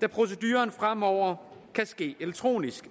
da proceduren fremover kan ske elektronisk